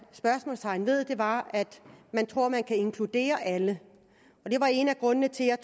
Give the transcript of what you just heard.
spørgsmålstegn ved var at man tror man kan inkludere alle det var en af grundene til at